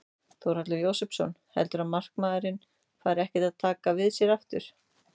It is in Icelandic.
Þórhallur Jósefsson: Heldurðu að markaðurinn fari ekkert að taka við sér aftur?